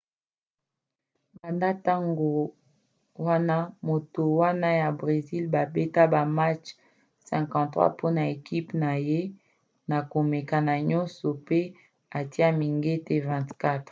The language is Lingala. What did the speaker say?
banda ntango wana moto wana ya bresil babeta ba match 53 mpona ekipe na ye na komekama nyonso pe atia mingete 24